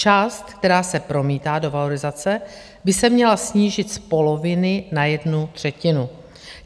Část, která se promítá do valorizace, by se měla snížit z poloviny na jednu třetinu.